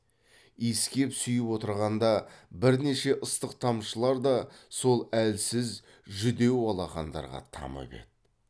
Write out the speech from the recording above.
иіскеп сүйіп отырғанда бірнеше ыстық тамшылар да сол әлсіз жүдеу алақандарға тамып еді